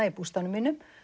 í bústaðnum mínum